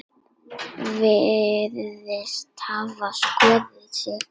Virðist hafa skotið sig.